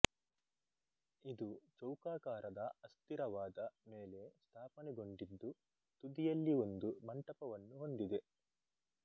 ಇದು ಚೌಕಾಕಾರದ ಅಸ್ಥಿರವಾದ ಮೇಲೆ ಸ್ಥಾಪನೆಗೊಂಡಿದ್ದು ತುದಿಯಲ್ಲಿ ಒಂದು ಮಂಟಪವನ್ನು ಹೊಂದಿದೆ